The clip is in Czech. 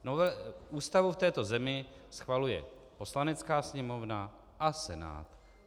Ústavu v této zemi schvaluje Poslanecká sněmovna a Senát.